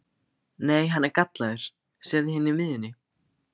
Nei, hann er gallaður, sérðu hérna í miðjunni.